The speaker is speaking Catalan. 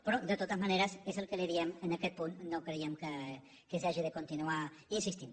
però de totes maneres és el que li diem en aquest punt no creiem que s’hagi de continuar insistint